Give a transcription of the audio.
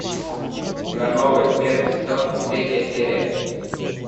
ивановы первый сезон третья серия